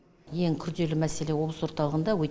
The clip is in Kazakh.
ең күрделі мәселе облыс орталығында